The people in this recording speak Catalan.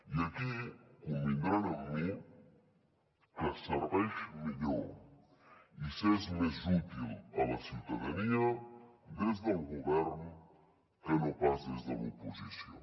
i aquí convindran amb mi que es serveix millor i s’és més útil a la ciutadania des del govern que no pas des de l’oposició